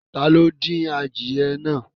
Tá lo din àdíẹ̀ náà?